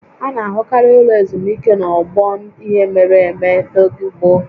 A na-ahụkarị ụlọ ezumike n'ogbe ihe mere eme n'oge gboo